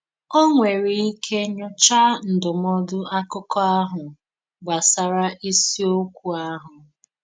Ó nwèrè ike nyòchá ndúmòdù àkụ́kọ̀ ahụ gbasàrà ísìòkwú ahụ.